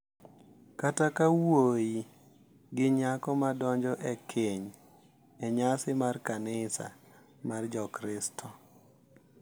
Kata ka wuoyi gi nyako madonjo e keny e nyasi mar kanisa mar Jokristo, .